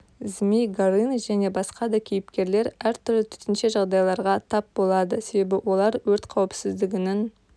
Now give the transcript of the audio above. змей горыныч және басқа да кейіпкерлер әртүрлі төтенше жағдайларға тап болады себебі олар өрт қауіпсіздігінің